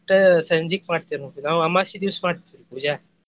ಇಟ್ಟ ಸಂಜೀಕ್ ಮಾಡ್ತೇವ್ ನಾವ್ ನಾವ್ ಅಮಾಷಿ ದಿವಸ ಮಾಡ್ತೇವ ಪೂಜಾ.